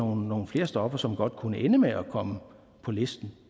nogle flere stoffer som godt kunne ende med at komme på listen